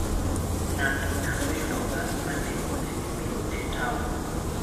Ng'ato nyalo yudo bas ma nengone ni piny e taon.